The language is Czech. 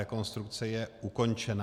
Rekonstrukce je ukončena.